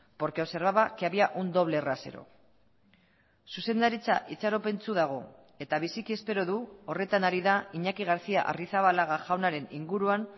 porque observaba que había un doble rasero zuzendaritza itxaropentsu dago eta biziki espero du horretan ari da iñaki garcía arrizabalaga jaunaren inguruan